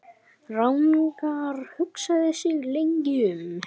Ragnar hugsaði sig lengi um.